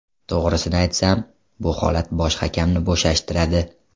To‘g‘risini aytsam, bu holat bosh hakamni bo‘shashtiradi.